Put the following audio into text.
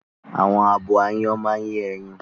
Àwọn abo áyán máa ń yẹ́yin